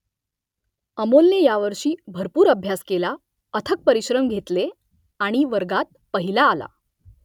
अमोलने यावर्षी भरपूर अभ्यास केला , अथक परिश्रम घेतले आणि वर्गात पहिला आला